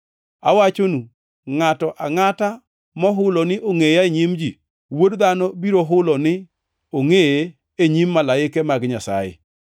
“Awachonu, ngʼato angʼata mohulo ni ongʼeya e nyim ji, Wuod Dhano biro hulo ni angʼeye e nyim malaike mag Nyasaye.